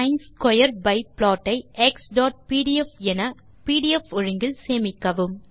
சின் square pi plot ஐ xபிடிஎஃப் என பிடிஎஃப் ஒழுங்கில் சேமிக்கவும்